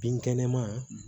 Binkɛnɛma